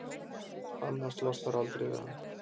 annars losnarðu aldrei við hann.